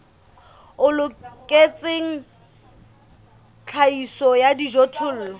o loketseng tlhahiso ya dijothollo